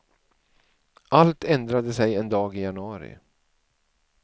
Allt ändrade sig en dag i januari.